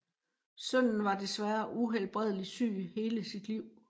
Sønnen var desværre uhelbredeligt syg hele sit liv